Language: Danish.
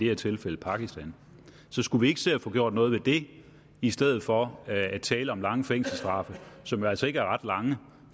her tilfælde pakistan så skulle vi ikke se at få gjort noget ved det i stedet for at tale om lange fængselsstraffe som jo altså ikke er ret lange